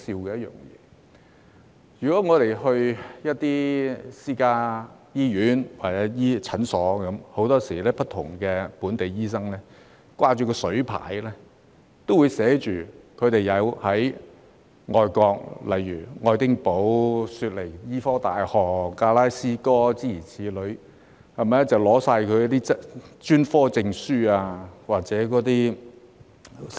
在私家醫院或診所，很多本地醫生都會掛水牌，顯示他們在外國，例如愛丁堡大學、悉尼大學、格拉斯哥大學等修讀的專科證書或院士資格。